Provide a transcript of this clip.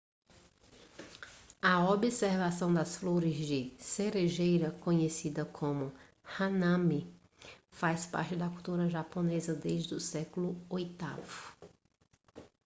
a observação das flores de cerejeira conhecida como hanami faz parte da cultura japonesa desde o século oitavo